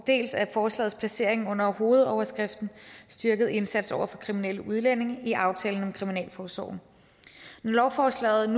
dels af forslagets placering under hovedoverskriften styrket indsats over for kriminelle udlændinge i aftalen om kriminalforsorgen når lovforslaget